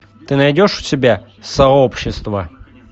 ты найдешь у себя сообщество